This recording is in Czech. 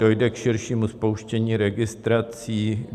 Dojde k širšímu spouštění registrací?